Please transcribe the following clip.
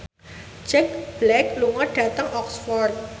Jack Black lunga dhateng Oxford